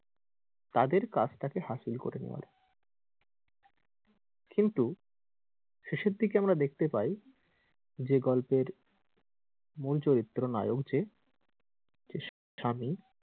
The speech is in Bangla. তাদের কাজ টাকে হাসিল করে নেওয়ার কিন্তু শেষের দিকে আমরা দেখতে পাই যে গল্পের মূল চরিত্র নায়ক যে যে স্বামী,